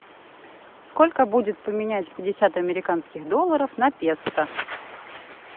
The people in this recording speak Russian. сколько будет поменять пятьдесят американских долларов на песо